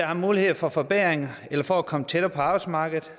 er mulighed for for bedring eller for at komme tættere på arbejdsmarkedet